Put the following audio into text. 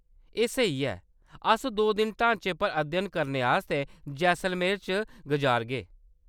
एह्‌‌ स्हेई ऐ ! अस दो दिन ढांचे पर अध्ययन करने आस्तै जैसलमेर च गजारगे।